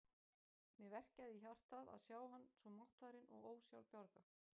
Mig verkjaði í hjartað að sjá hann svo máttfarinn og ósjálfbjarga.